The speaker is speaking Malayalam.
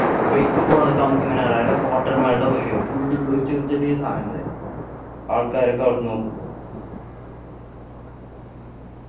bike പോണതൊക്കെ നമ്മുക്കിങ്ങനെ മെൽടെ മായിരിയാകും full ചെറിയ ചെറിയ സാധനങ്ങള് ആൾക്കാരെക്കെ അവിടെന്നു നോക്കുമ്പോ